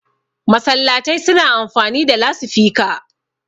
masallatai suna amfani da lasifika